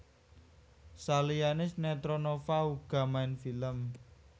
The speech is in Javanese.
Saliyané sinetron Nova uga main film